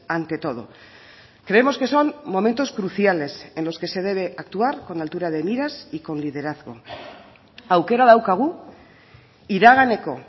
ante todo creemos que son momentos cruciales en los que se debe actuar con altura de miras y con liderazgo aukera daukagu iraganeko